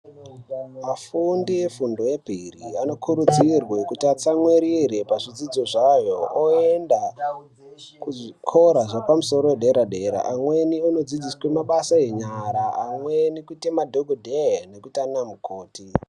Afundi efundo yemberi anokurudzirwe kuti atsamwirire pazvidzidzo zvayo oenda kuzvikora zvepamusoro yedera dera amweni anodzidziswe mabasa enyara amweni kuite madhokodheya nekuite ana mukoti.